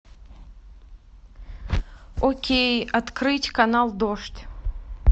окей открыть канал дождь